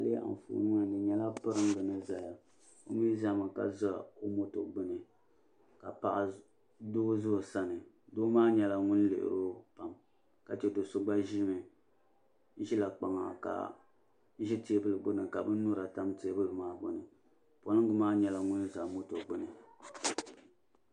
Ayi lihi anfooni ŋɔ ni di nyɛla piringa ni zaya o mi zami ka za o moto gbini ka doo za o sani doo maa nyɛla ŋun lihiri o pam ka che do'so gba ʒila kpaŋa ka ʒi teebuli gbini ka binnyura tam teebuli maa gbini polingi maa nyɛla ŋun za moto gbini.